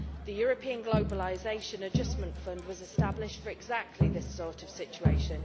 The European Globalisation Adjustment Fund was established for exactly this sort of situation.